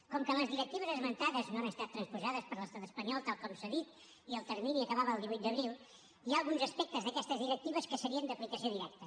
com que les directives esmentades no han estat transposades per l’estat espanyol tal com s’ha dit i el termini acabava el divuit d’abril hi ha alguns aspectes d’aquestes directives que serien d’aplicació directa